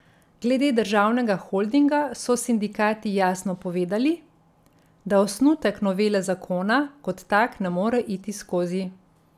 Glede državnega holdinga so sindikati jasno povedali, da osnutek novele zakona kot tak ne more iti skozi.